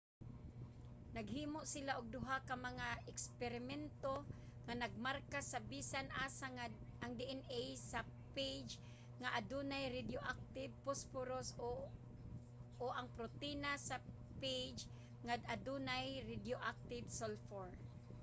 naghimo sila og duha ka mga eksperimento nga nagmarka sa bisan asa ang dna sa phage nga adunay radioactive phosphorus o ang protina sa phage nga adunay radioactive sulfur